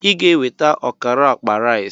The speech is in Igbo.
Ị ga-eweta ọkara akpa rice!